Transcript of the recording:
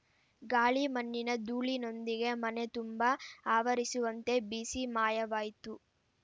ಗಾಳಿ ಮಣ್ಣಿನ ಧೂಳಿನೊಂದಿಗೆ ಮನೆತುಂಬ ಆವರಿಸುವಂತೆ ಬೀಸಿ ಮಾಯವಾಯ್ತು